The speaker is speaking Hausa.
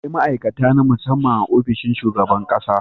Akwai ma'aikata na musamman a ofishin shugaban ƙasa.